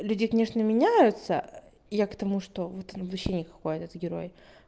людей конечно меняются я к тому что вот он вообще никакой этот герой